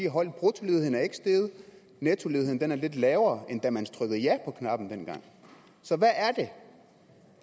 holdt bruttoledigheden er ikke steget nettoledigheden er lidt lavere end da man trykkede ja på knappen dengang så hvad er det